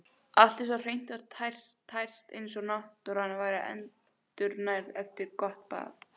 Allt var svo hreint og tært eins og náttúran væri endurnærð eftir gott bað.